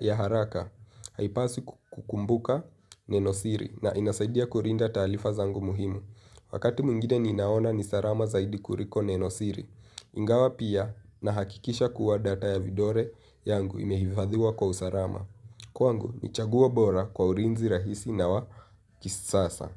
ya haraka. Haipasi kukumbuka nenosiri na inasaidia kurinda talifa zangu muhimu. Wakati mwingine ninaona nisarama zaidi kuriko nenosiri. Ingawa pia, nahakikisha kuwa data ya vidore yangu imehifadhiwa kwa usarama. Kwangu, nichaguo bora kwa ulinzi rahisi na wa kisasa.